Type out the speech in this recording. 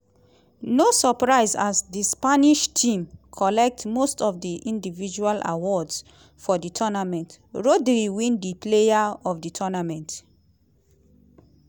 no surprise as di spanish team collect most of di individual awards for di tournament rodri win di player of di tournament.